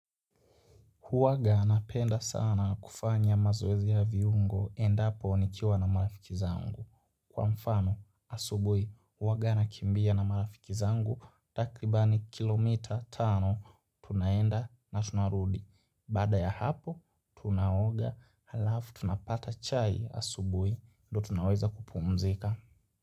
Huwaga anapenda sana kufanya mazoezi ya viungo endapo nikiwa na marafiki zangu. Kwa mfano, asubuhi huwaga anakimbia na marafiki zangu takribani kilomita tano tunaenda na tunarudi. Baada ya hapo, tunaoga halafu tunapata chai asubuhi ndo tunaweza kupumzika.